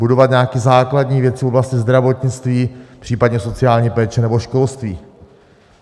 Budovat nějaké základní věci v oblasti zdravotnictví, případně sociální péče nebo školství.